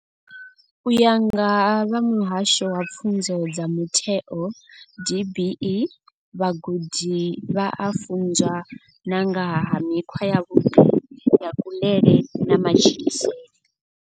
U ya nga vha muhasho wa pfunzo dza mutheo DBE, vhagudi vha a funzwa na nga ha mikhwa yavhuḓi ya kuḽele na matshilisele.